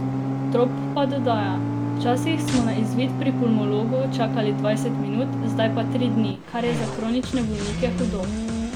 Trop pa dodaja: 'Včasih smo na izvid pri pulmologu čakali dvajset minut, zdaj pa tri dni, kar je za kronične bolnike hudo.